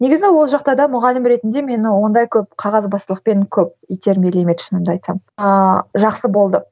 негізі ол жақта да мұғалім ретінде мені ондай көп қағазбастылықпен көп итермелемеді шынымды айтсам ааа жақсы болды